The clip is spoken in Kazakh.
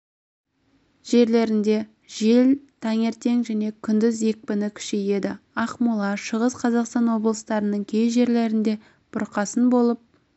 жерлерінде жел таңертең және күндіз екпіні күшейеді ақмола шығыс қазақстан облыстарының кей жерлерінде бұрқасын болып